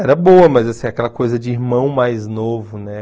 Era boa, mas assim, aquela coisa de irmão mais novo, né?